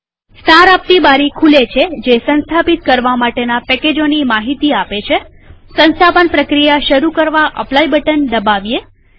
સાર આપતી બારી ખુલે છે જે સંસ્થાપિત કરવા માટેના પેકેજોની માહિતી આપે છેસંસ્થાપન પ્રક્રિયા શરુ કરવા અપ્લાય બટન દબાવીએ